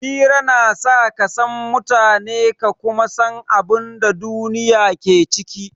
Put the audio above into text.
Hira na sa ka san mutane ka kuma san abin da duniya ke ciki.